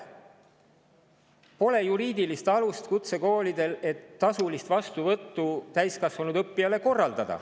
Kutsekoolidel ei ole juriidilist alust, et korraldada tasulist vastuvõttu täiskasvanud õppijale.